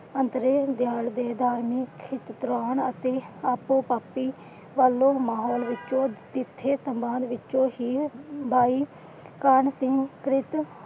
ਗਿਆਨ ਦੇਣ ਦਾ